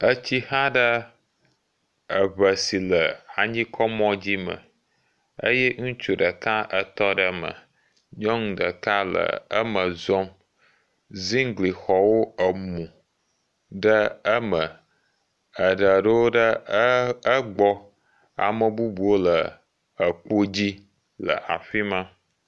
Etsi xa ɖe eŋɛ si le anyi kɔ mɔ dzi me eye ŋutsu ɖeka etɔ ɖe eme. Nyɔnu ɖeka le eme zɔm. Zingli xɔwo ebu ɖe eme. Eɖewo ɖo ɖe egbɔ. Ame bubuwo le ekpo dzi le egbɔ.le le afima